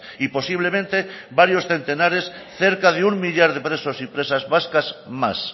y posiblemente varios centenares cerca de un millar de presos y presas vascas más